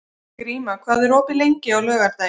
Gríma, hvað er opið lengi á laugardaginn?